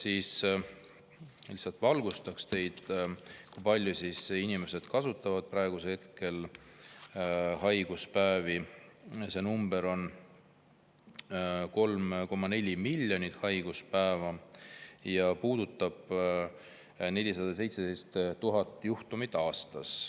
Ma lihtsalt valgustan teid, kui palju inimesed kasutavad praegu haiguspäevi: 3,4 miljonit haiguspäeva ja see puudutab 417 000 juhtumit aastas.